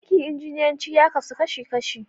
Aikin injiniyanci ya kasu kashi kashi.